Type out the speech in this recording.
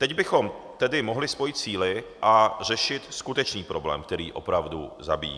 Teď bychom tedy mohli spojit síly a řešit skutečný problém, který opravdu zabíjí.